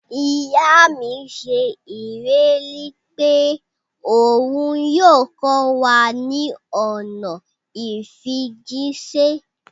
Iya mi ṣe ileri pe oun yoo kọ wa ni ọna ifijiṣẹ.